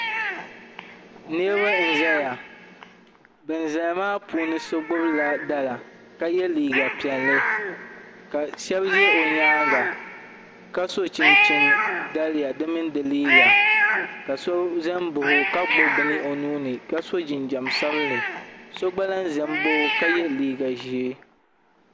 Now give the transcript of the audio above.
Niraba n ʒɛya bin ʒɛya maa puuni so gbubila dala ka yɛ liiga piɛlli ka shab ʒɛ o nyaanga ka so chinchini daliya di mini di liiga ka so ʒɛ n baɣa o ka gbubi bini o nuuni ka so jinjɛm sabinli so gba lahi ʒɛ n baɣa i ka yɛ liiga ʒiɛ